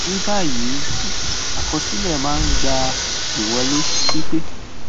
ni báyìíìwé àkọsílẹ máa ń gba ìwọlé pípé